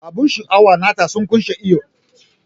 Abun sha'awa nata sun kunshe iyo.